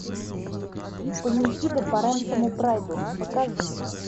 панихида по рэнсому прайду покажи